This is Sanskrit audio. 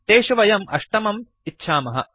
तेषु वयम् अष्टमम् इच्छामः